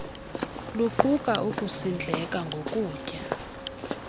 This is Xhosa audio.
luquka ukusindleka ngokutya